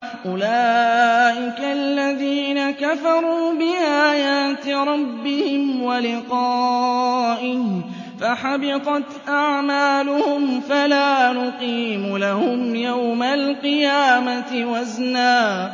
أُولَٰئِكَ الَّذِينَ كَفَرُوا بِآيَاتِ رَبِّهِمْ وَلِقَائِهِ فَحَبِطَتْ أَعْمَالُهُمْ فَلَا نُقِيمُ لَهُمْ يَوْمَ الْقِيَامَةِ وَزْنًا